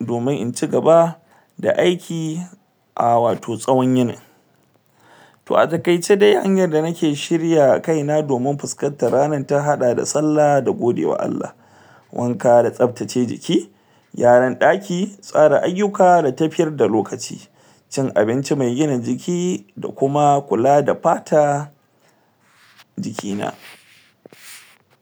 domin in cigaba da aiki ah wato tsawon yinin to a takaice dai hanyar da nake shirya kaina domin fuskantar ranar ta hada da sallah da godewa ALLAH wanka da tsabtace jiki gyaran daki tsara ayuka da tafiyar da lokaci cin abinci me gina jiki da kuma kula da fata jiki na